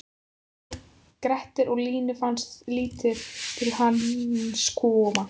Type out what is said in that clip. Hann hét Grettir og Línu fannst lítið til hans koma: